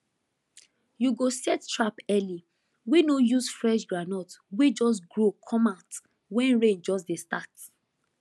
you go set trap early wey no use fresh groundnut wey just grow comeout wen rain just dey start